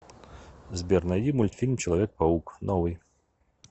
сбер найди мультфильм человек паук новый